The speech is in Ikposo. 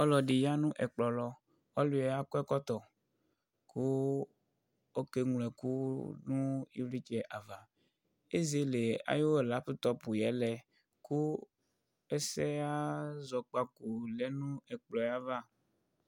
Ɔluɛdi ya nu ɛkplɔ lɔ ɔluɛ akɔ ɛkɔtɔ ku ɔké nlo ɛku nu ivlitsɛ ava ézélé ayu laptɔp yɛ lɛ ku ɛsɛya zɔkpaku lɛ nu ɛkplɔɛ va